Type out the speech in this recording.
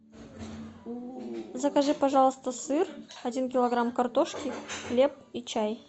закажи пожалуйста сыр один килограмм картошки хлеб и чай